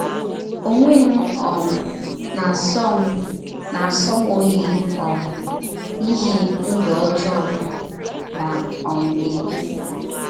Ọnwe m um na - asọ m - asọ m ọyi um n’ihi ndụ ọjọọ m na um - ebi.